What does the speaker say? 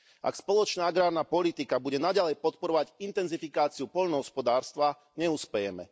Ak spoločná agrárna politika bude naďalej podporovať intenzifikáciu poľnohospodárstva, neuspejeme.